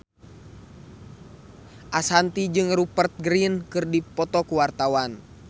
Ashanti jeung Rupert Grin keur dipoto ku wartawan